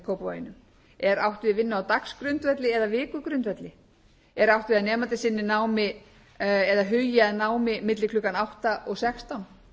í kópavoginum er átt við vinnu á dagsgrundvelli eða vikugrundvelli er átt við að nemandi sinni námi eða hugi að námi milli klukkan átta og sextán